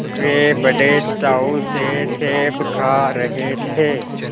वे बड़े चाव से सेब खा रहे थे